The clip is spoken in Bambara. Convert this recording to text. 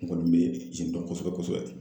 N kɔni bɛ yen dɔn kosɛbɛ kosɛbɛ kosɛbɛ.